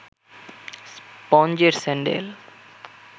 স্পঞ্জের sandal